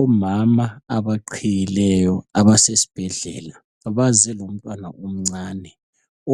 Omama abaqhiyileyo abases'bhedlela baze lomntwana omncane